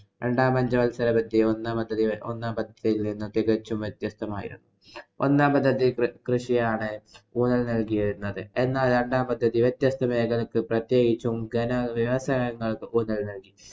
രണ്ടാം പഞ്ചവത്സരപദ്ധതി ഒന്നാം പദ്ധതി~ ഒന്നാം പദ്ധതിയില്‍ നിന്നും തികച്ചും വ്യത്യസ്തമായിരുന്നു. ഒന്നാം പദ്ധതി കൃഷിയാണ് ഊന്നല്‍ നല്‍കിയിരുന്നത്. എന്നാല്‍ രണ്ടാം പദ്ധതി വ്യത്യസ്ത മേഖലയ്ക്ക്ക് പ്രത്യേകിച്ചും ഘന വ്യവസായങ്ങള്‍ക്ക് ഊന്നല്‍ നല്‍കി.